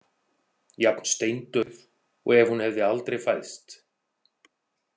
Jafn steindauð og ef hún hefði aldrei fæðst.